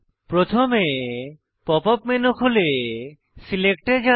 প্রথমে pop up menu খুলে select এ যান